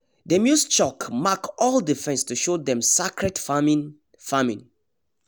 them use chalk mark all the fence to show dem sacred farming farming